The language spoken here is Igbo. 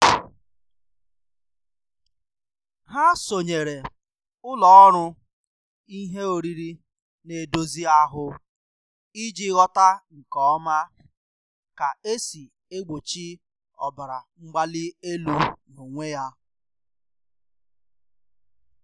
Ha sonyeere ụlọ ọrụ ihe oriri na-edozi ahụ iji ghọta nke ọma ka esi egbochi ọbara mgbali elu n'onwe ya.